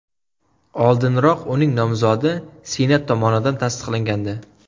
Oldinroq uning nomzodi Senat tomonidan tasdiqlangandi.